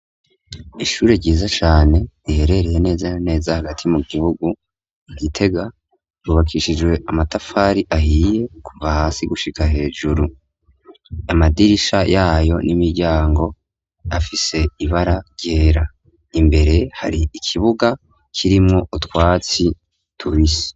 Ishure ryiza cane riherereye neza naneza hagati mu gihugu nkitega rubakishijwe amatafari ahiye kuva hasi gushika hejuru amadirisha yayo n'imiryango afise ibara ryera imbere hari ikibuga kirimwo utwatsi tourise.